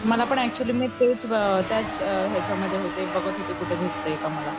मला पण ऍक्च्युली मी त्याच याच्यामध्ये त्याच्या मध्ये होते बघत होते कुठे भेटते का मला